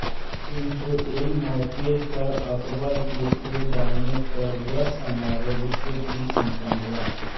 किंतु ऐन मौके पर अकबर के खो जाने पर वह समारोह दूसरे दिन सम्पन्न हुआ